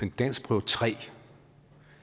en danskprøve tredje